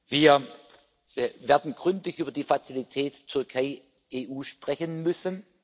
Wir werden gründlich über die Fazilität Türkei EU sprechen müssen.